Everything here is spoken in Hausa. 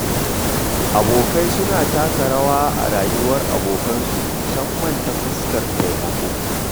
Abokai suna taka rawa sosai a rayuwar abokansu, musamman ta fuskar taimako.